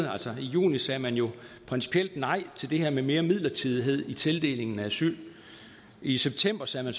altså i juni sagde man jo principielt nej til det her med mere midlertidighed i tildelingen af asyl i september sagde man